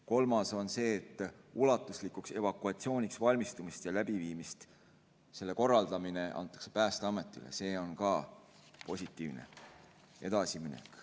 Kolmas on see, et ulatuslikuks evakuatsiooniks valmistumise ja läbiviimise korraldamine antakse Päästeametile, see on ka positiivne edasiminek.